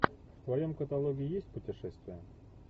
в твоем каталоге есть путешествия